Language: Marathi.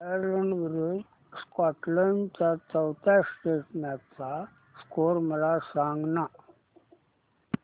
आयर्लंड विरूद्ध स्कॉटलंड च्या चौथ्या टेस्ट मॅच चा स्कोर मला सांगना